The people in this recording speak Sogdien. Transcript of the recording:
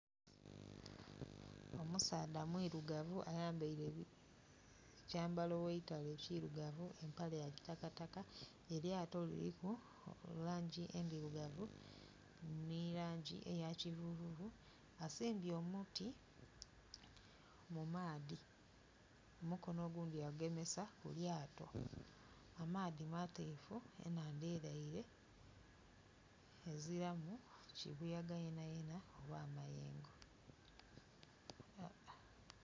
Omusaadha mwirugavu ayambaile ekyambalo eitale ekirugavu empale ya kitakataka, eryato liriku langi endirugavu ni langi eya kivuvuvu asimbye omuti mu maadhi omukono ogundi ya gugemesa ku lyato amaadhi mateefu enhandha eleile, eziramu kibuyaga yenayena oba mayengo.